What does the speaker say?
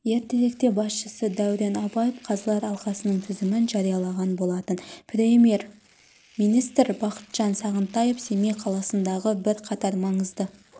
ертеректе басшысы дәурен абаев қазылар алқасының тізімін жариялаған болатын премьер-министр бақытжан сағынтаев семей қаласындағы бірқатар маңызды